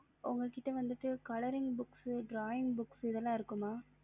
உங்ககிட்ட வந்துட்டு colouring books drawing books இதுல இருக்குமா